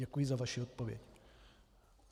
Děkuji za vaši odpověď.